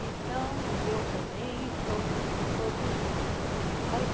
Então, e eu também e todos todos nós. aí